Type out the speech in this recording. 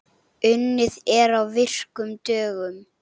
Unnið er á virkum dögum.